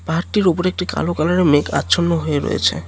ঘাটটির উপরে একটি কালো কালারের মেঘ আচ্ছন্ন হয়ে রয়েছে।